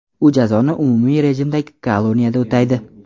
U jazoni umumiy rejimdagi koloniyada o‘taydi.